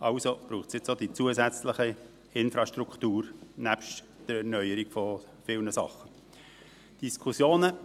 Also braucht es nun neben bei der Erneuerung von vielen Sachen auch die zusätzliche Infrastruktur.